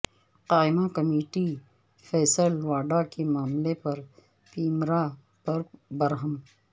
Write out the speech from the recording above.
قائمہ کمیٹی فیصل واڈا کے معاملے پر پیمرا پر برہم